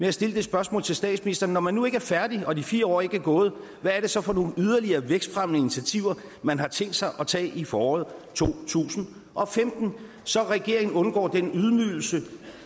at stille det spørgsmål til statsministeren når man nu ikke er færdig og de fire år ikke er gået hvad er det så for nogle yderligere vækstfremmende initiativer man har tænkt sig at tage i foråret to tusind og femten så regeringen undgår den ydmygelse